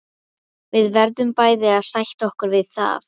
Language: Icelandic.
Við verðum bæði að sætta okkur við það.